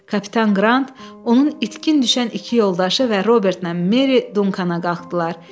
Kapitan Qrant onun itkin düşən iki yoldaşı və Robertnən Meri Dunkana qalxdılar.